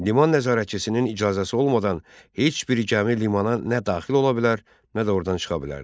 Liman nəzarətçisinin icazəsi olmadan heç bir gəmi limana nə daxil ola bilər, nə də ordan çıxa bilərdi.